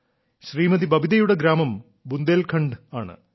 ശ്രീമതി ബബിതയുടെ ഗ്രാമം ബുന്ദേൽഖണ്ഡ് ആണ്